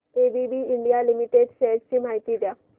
ABB India limited shares ची माहिती द्या